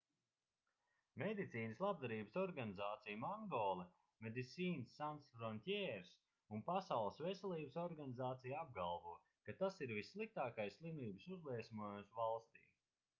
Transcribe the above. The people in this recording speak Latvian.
medicīnas labdarības organizācija mangola medecines sans frontieres un pasaules veselības organizācija apgalvo ka tas ir vissliktākais slimības uzliesmojums valstī